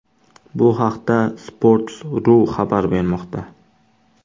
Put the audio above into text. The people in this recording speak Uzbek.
Bu haqda Sports.ru xabar bermoqda .